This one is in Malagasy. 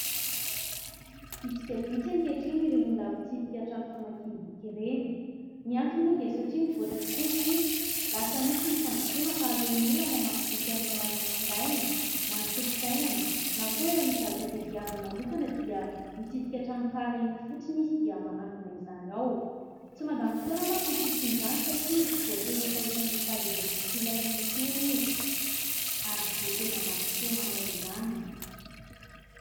Vitsy dia vitsy ankehitriny ireny olona mpitsidika trano famakiam-boky ireny. Ny antony moa dia satria nivoatra tokoa isika, lasa nisy ny fandrosoana ka aleon'ny olona mamaky boky amin'ny alalan'ny findainy na ny solosainany na koa ra misy zavatra tadiaviny manokana dia mitsidika tranokala eny fotsiny izy dia manangona izany ao. Tsy mandany fotoana mantsy ny fisian'izany satria tsy voatery hisahirana hitady ireo boky ilaina intsony izy ary tsy voatery andany fotoana anao izany.